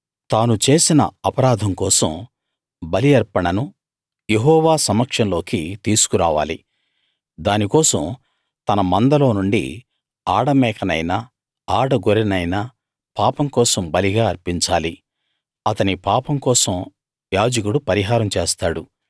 తాను చేసిన అపరాధం కోసం బలి అర్పణను యెహోవా సమక్షంలోకి తీసుకురావాలి దానికోసం తన మందలోనుండి ఆడమేకనైనా ఆడగొర్రెనైనా పాపం కోసం బలిగా అర్పించాలి అతని పాపం కోసం యాజకుడు పరిహారం చేస్తాడు